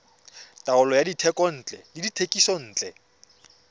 taolo ya dithekontle le dithekisontle